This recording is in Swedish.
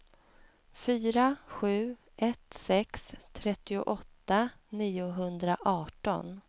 fyra sju ett sex trettioåtta niohundraarton